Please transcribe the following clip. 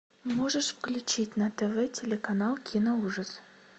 можешь включить на тв телеканал киноужас